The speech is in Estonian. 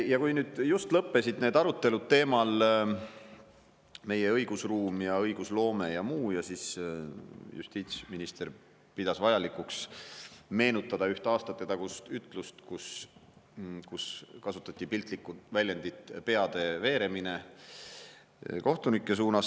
Ja kui nüüd just lõppesid need arutelud meie õigusruumi ja õigusloome teemal, siis justiitsminister pidas vajalikuks meenutada üht aastatetagust ütlust, kus kohtunikest rääkides kasutati piltlikku väljendit "peade veeremine".